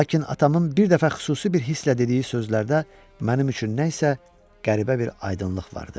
Lakin atamın bir dəfə xüsusi bir hisslə dediyi sözlərdə mənim üçün nə isə qəribə bir aydınlıq vardı.